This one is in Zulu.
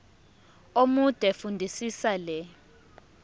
omude fundisisa le